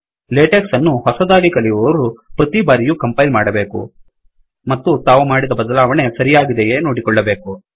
LaTeX ಅನ್ನು ಹೊಸದಾಗಿ ಕಲಿಯುವವರು ಪ್ರತಿ ಬಾರಿಯೂ ಕಂಪೈಲ್ ಮಾಡಬೇಕು ಮತ್ತು ತಾವು ಮಾಡಿದ ಬದಲಾವಣೆ ಸರಿಯಾಗಿದೆಯೇ ನೋಡಿಕೊಳ್ಳಬೇಕು